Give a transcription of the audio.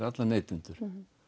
alla neytendur